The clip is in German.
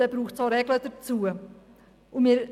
Darum sind auch Regeln für dieses Gewerbe notwendig.